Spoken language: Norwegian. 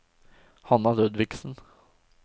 Hanna Ludvigsen